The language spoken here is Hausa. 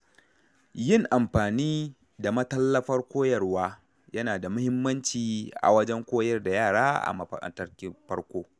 Yin amfani da matallafar koyarwa, yana da muhimmanci wajen koyar da yara a matakin farko.